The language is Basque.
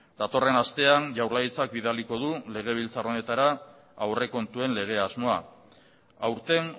datorren astean jaurlaritzak bidaliko du legebiltzar honetara aurrekontuen lege asmoa aurten